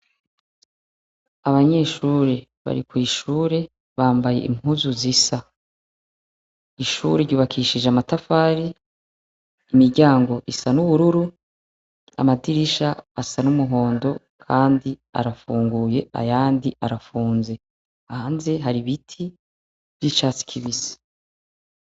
Abanyeshure, bari kwishure ,bambaye impuzu zisa. Ishuri ryubakishije amatafari, imiryangio isa nubururu, amadirisha asa n'umuhondo kandi arafunguye ayandi arafunze. Hanze har'ibiti vy'icatsi kibisi.